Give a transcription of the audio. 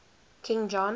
king john